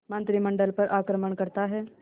मंत्रिमंडल पर आक्रमण करता है